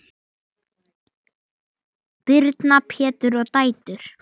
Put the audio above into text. Birna, Pétur og dætur.